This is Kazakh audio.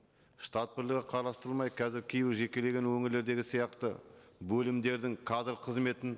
штат бірлігі қарастырылмай қазір кейбір жекелеген өңірлердегі сияқты бөлімдердің кадр қызметінің